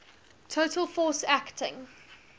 total force acting